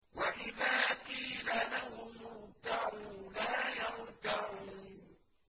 وَإِذَا قِيلَ لَهُمُ ارْكَعُوا لَا يَرْكَعُونَ